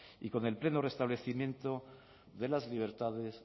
y con el pleno restablecimiento de las libertades